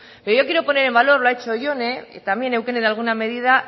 pero yo quiero poner en valor lo ha hecho jone y también eukene de alguna medida